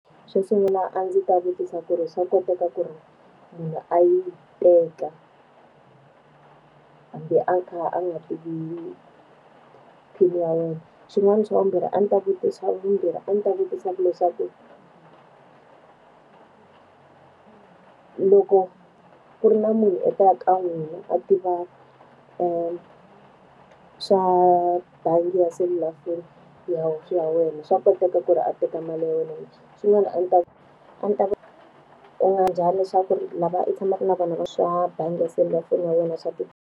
Xo sungula a ndzi ta vutisa ku ri swa koteka ku ri munhu a yi teka, hambi a kha a nga tivi PIN-i ya wena? Xin'wani xa vumbirhi a ndzi ta vutisa vumbirhi a ndzi ta vutisa ku leswaku ku loko ku ri na munhu a taka ka n'wina a tiva swa bangi ya selulafoni ya ya wena, swa koteka ku ri a teka mali ya wena na? Swin'wana a ndzi ta a ni ta leswaku ri lava u tshamaka na vona na swa bangi ya selulafoni ya wena swa .